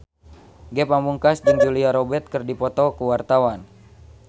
Ge Pamungkas jeung Julia Robert keur dipoto ku wartawan